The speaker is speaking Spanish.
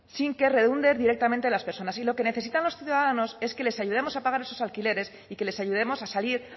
sin que redunde directamente en las personas y lo que necesitan los ciudadanos es que les ayudemos a pagar esos alquileres y que les ayudemos a salir